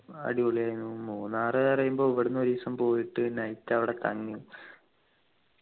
അടിപൊളിയായിനു മൂന്നാറു പറയുമ്പോ ഇവിടെന്നു ഒരീസം പോയിട്ടു might അവിടെ തങ്ങി